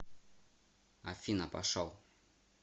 афина пошел